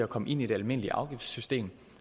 kommer ind i det almindelige afgiftssystem